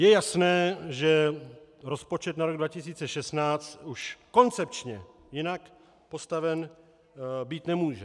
Je jasné, že rozpočet na rok 2016 už koncepčně jinak postaven být nemůže.